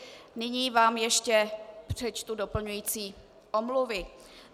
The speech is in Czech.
Nyní vám ještě přečtu doplňující omluvy.